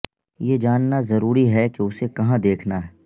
یہ جاننا ضروری ہے کہ اسے کہاں دیکھنا ہے